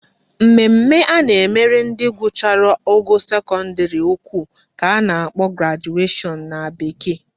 Mmemme a na-emere ndị gụchara ogo sekọndịrị ukwu ka a na-akpọ graduation na bekee